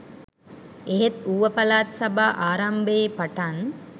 එහෙත් ඌව පළාත් සභා ආරම්භයේ පටන්